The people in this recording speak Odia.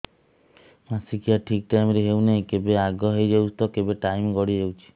ମାସିକିଆ ଠିକ ଟାଇମ ରେ ହେଉନାହଁ କେବେ ଆଗେ ହେଇଯାଉଛି ତ କେବେ ଟାଇମ ଗଡି ଯାଉଛି